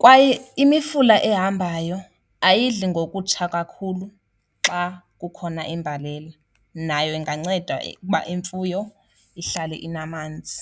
Kwaye imifula ehambayo ayidli ngokutsha kakhulu xa kukhona imbalela, nayo inganceda ukuba imfuyo ihlale inamanzi.